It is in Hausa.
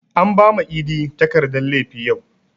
An bama idi takardan laifi yau